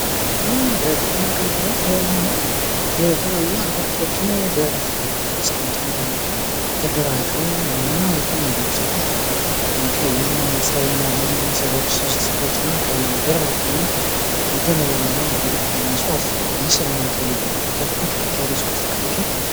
ለግብርና አገልግሎት የሚሆን የተለያዩ አታክልቶችን አስቀምተው መጀመሪያ እያደራጁ፤ እና የተለያዩ ሴቶች ቀይም ጸየምም ያሉ ሶስት ሴቶች እና ከጀርባቸው ደግሞ ረዘም ረዘም ያለ ሊደርቅ ያለ እጽዋትና ምስልን ጉች ጉች ያሉ የጽዋት ምስሎችን አሉ።